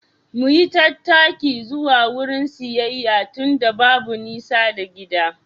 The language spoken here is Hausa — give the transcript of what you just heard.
Mu yi tattaki zuwa wurin siyayya tunda babu nisa da gida.